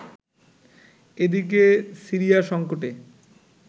এদিকে, সিরিয়া সংকটে